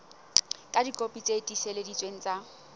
ka dikopi tse tiiseleditsweng tsa